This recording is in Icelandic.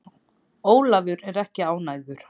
Ólafur er ekki ánægður.